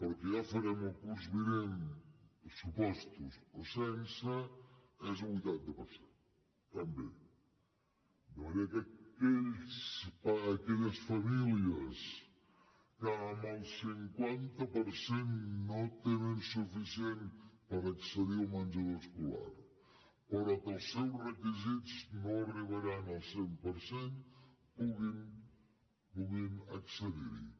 el que ja farem el curs vinent amb pressupostos o sense és un vuitanta per cent també de manera que aquelles famílies que amb el cinquanta per cent no en tenen suficient per accedir al menjador escolar però que els seus requisits no arribaran al cent per cent puguin accedir hi